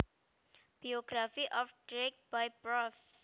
Biography of Grieg by prof